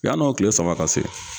Yann'o kile saba ka se